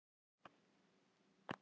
Lengra nær ættfærslan ekki með vissu.